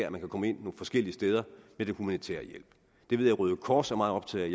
at man kan komme ind forskellige steder med humanitær hjælp det ved jeg røde kors er meget optaget af